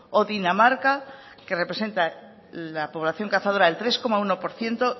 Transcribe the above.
o dinamarca que representa la población cazadora el tres coma uno por ciento